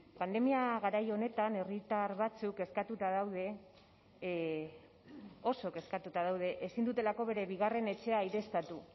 pandemia garai honetan herritar batzuk kezkatuta daude oso kezkatuta daude ezin dutelako bere bigarren etxea aireztatu